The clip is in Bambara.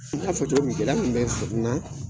N ɲ'a fɔ cogo min gɛlɛya kun bɛ n na